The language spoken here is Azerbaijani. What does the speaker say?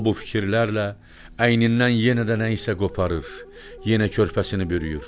O bu fikirlərlə əynindən yenə də nəyisə qoparır, yenə körpəsini bürüyür.